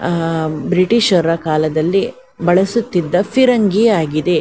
ಆಂಮ್ ಬ್ರಿಟಿಷರ ಕಾಲದಲ್ಲಿ ಬಳಸುತ್ತಿದ್ದ ಫಿರಂಗಿ ಆಗಿದೆ.